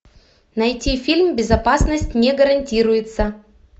найти фильм безопасность не гарантируется